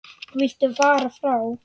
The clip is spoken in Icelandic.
Viltu fara frá!